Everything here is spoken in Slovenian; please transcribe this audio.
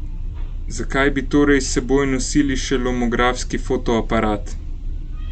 Zakaj bi torej s seboj nosili še lomografski fotoaparat?